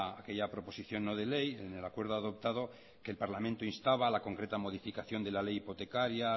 aquella proposición no de ley en el acuerdo adoptado que el parlamento instaba a la concreta modificación de la ley hipotecaria